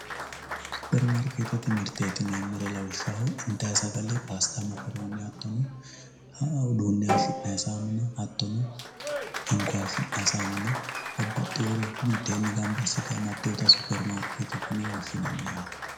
Suppermaarkeetete mirteeti yineemmori lawishshaho intayiiri paasitta mokkoroone hattono uduunne hayiishi'nay saamuna hinko hayiishinay saamuna babbaxxewore mitteenni gamba assite amadeewota suppermaarkeetete yine woshshinanni